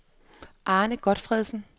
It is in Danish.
Arne Gotfredsen